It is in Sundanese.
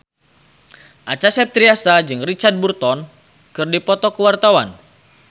Acha Septriasa jeung Richard Burton keur dipoto ku wartawan